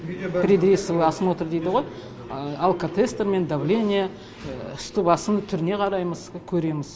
предрейсовый осмотр дейді ғой алкотестер мен давление үсті басын түріне қараймыз көреміз